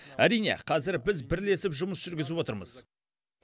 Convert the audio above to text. әрине қазір біз бірлесіп жұмыс жүргізіп отырмыз